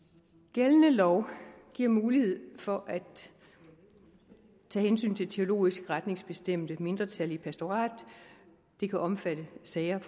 gældende lov giver mulighed for at tage hensyn til teologisk retningsbestemte mindretal i pastoratet det kan omfatte sager